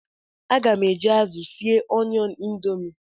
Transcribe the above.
Aga m eji azụ sie Onion Indomie.